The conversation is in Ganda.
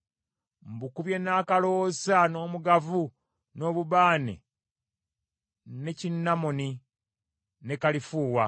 Mbukubye n’akaloosa, n’omugavu, n’obubaane, ne kinamoni, ne kalifuuwa.